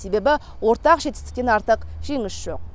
себебі ортақ жетістіктен артық жеңіс жоқ